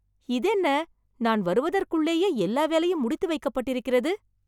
இது என்ன! நான் வருவதற்குள்ளேயே எல்லா வேலையும் முடித்து வைக்கப்பட்டிருக்கிறது!